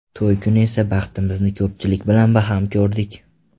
To‘y kuni esa baxtimizni ko‘pchilik bilan baham ko‘rdik.